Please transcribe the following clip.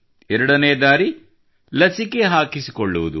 ಜೊತೆಗೆ ಲಸಿಕೆ ಹಾಕಿಸಿಕೊಳ್ಳುವುದು